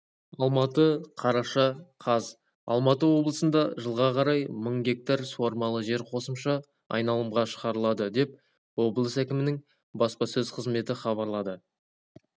алматы қараша қаз алматы облысында жылға қарай мың гектар суармалы жер қосымша айналымға шығарылады деп облыс әкімінің баспасөз қызметі хабарлады